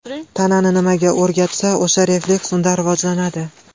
Tanani nimaga o‘rgatsa, o‘sha refleks unda rivojlanadi.